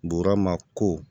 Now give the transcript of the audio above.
Burama ko